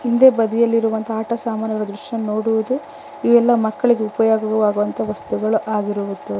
ಹಿಂದೆ ಬದಿಯಲ್ಲಿರುವಂತ ಆಟ ಸಾಮಾನು ಇರುವ ದೃಶ್ಯ ನೋಡುವುದು ಇವೆಲ್ಲ ಮಕ್ಕಳಿಗೂ ಉಪಯೋಗವಾಗುವಂತಹ ವಸ್ತುಗಳು ಆಗಿರುವುದು.